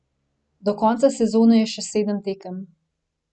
Do konca sezone je še sedem tekem.